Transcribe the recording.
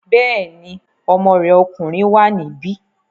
Bẹ́ẹ̀ni, ọmọ rẹ̀ ọkùnrin wà níbí